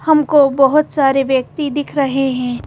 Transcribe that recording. हमको बहोत सारे व्यक्ति दिख रहे हैं।